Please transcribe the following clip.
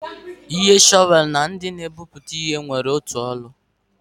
Ihe shọvel na ndị na-egwupụta ihe nwere otu ọrụ.